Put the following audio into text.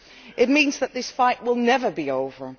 It means that this fight will never be over.